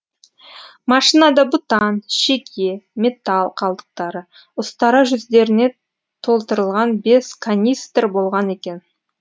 машинада бутан шеге металл қалдықтары ұстара жүздеріне толтырылған бес канистр болған екен